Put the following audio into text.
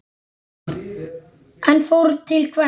En fórn til hvers?